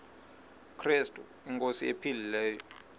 krestu inkosi ephilileyo